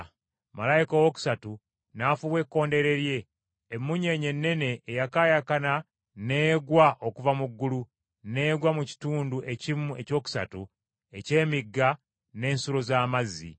Malayika owookusatu n’afuuwa ekkondeere lye, emmunyeenye ennene eyakaayakana n’egwa okuva mu ggulu, n’egwa mu kitundu ekimu ekyokusatu eky’emigga n’ensulo z’amazzi.